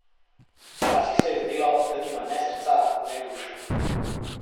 Včasih se je zdelo, da nima ne srca ne duše.